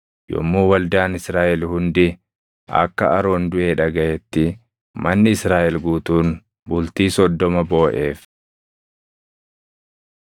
yommuu waldaan Israaʼel hundi akka Aroon duʼe dhagaʼetti manni Israaʼel guutuun bultii soddoma booʼeef.